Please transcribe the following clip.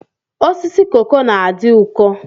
Osisi koko na-adị ụkọ.